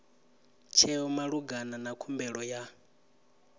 tsheo malugana na khumbelo ya